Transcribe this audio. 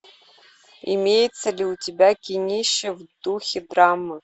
имеется ли у тебя кинище в духе драма